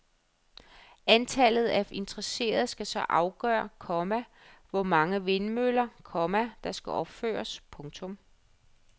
Antallet af interesserede skal så afgøre, komma hvor mange vindmøller, komma der skal opføres. punktum